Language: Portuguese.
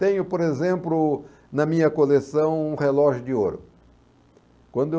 Tenho, por exemplo, na minha coleção um relógio de ouro. Quando